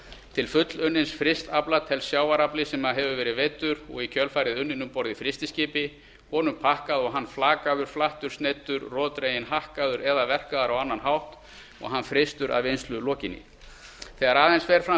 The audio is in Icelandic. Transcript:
til fullunnins frysts afla telst sjávarafli sem hefur verið veiddur og í kjölfarið unninn um borð í frystiskipi honum pakkað og hann verið flakaður flattur sneiddur roðdreginn hakkaður eða verkaður á annan hátt og hann frystur að vinnslu lokinni þegar aðeins fer fram